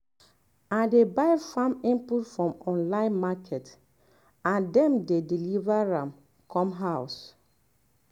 i dey buy farm input for online market & dem dey um deliver am come house.